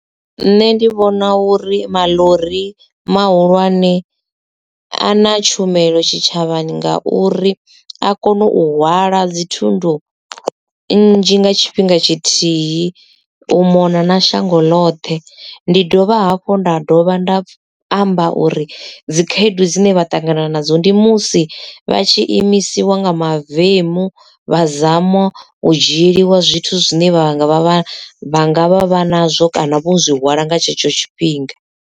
Nṋe ndi vhona uri maḽori mahulwane a na tshumelo tshitshavhani nga uri a kona u hwala dzithundu nzhi nga tshifhinga tshithihi u mona na shango ḽoṱhe. Ndi dovha hafhu nda dovha nda amba uri dzikhaedu dzine vha ṱangana nadzo ndi musi vha tshi imisiwa nga mavemu vha zama u dzhieliwa zwithu zwine vha nga vha vha vha nga vha vha nazwo kana vho zwi hwala nga tshetsho tshifhinga.